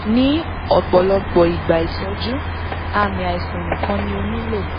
ni ọpọlọpọ igba itọju aami aisan nikan ni o nilo